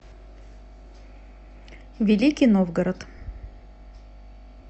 великий новгород